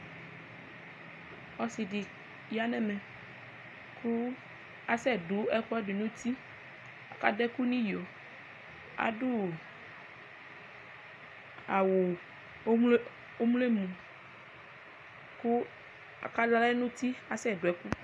Ɔsidi yanʋ ɛmɛ kʋ asɛdʋ ɛkʋɛdi nʋ uti kʋ adʋ ɛkʋ nʋ iyo adʋ awʋ ɔwlɔmʋ kʋ asɛdʋ ɛkʋ nʋ uti